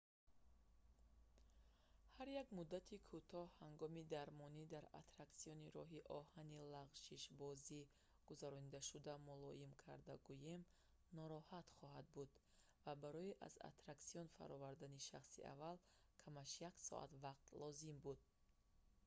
ҳар як муддати кӯтоҳи ҳагоми дармонӣ дар аттраксиони роҳи оҳани лағшишбозӣ гузарондашуда мулоим карда гӯем нороҳат хоҳад буд ва барои аз аттраксион фаровардани шахси аввал камаш як соат вақт лозим буд